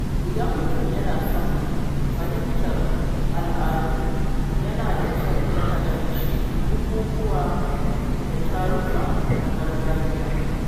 Idan mutum yana son fahimtar al’adu, yana da kyau ya halarci bukukuwa da taruka na gargajiya.